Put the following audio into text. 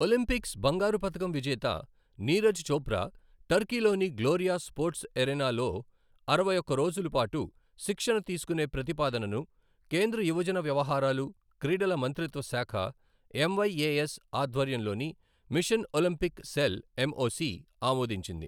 Olympics బంగారు పతకం విజేత నీరజ్ చోప్రా టర్కీలోని గ్లోరియా స్పోర్ట్స్ ఎరీనాలో అరవై ఒక్క రోజుల పాటు శిక్షణ తీసుకునే ప్రతిపాదనను కేంద్ర యువజన వ్యవహారాలు, క్రీడల మంత్రిత్వ శాఖ ఎంవైఏఎస్ ఆధ్వర్యంలోని మిషన్ ఒలింపిక్ సెల్ ఎంఓసీ ఆమోదించింది.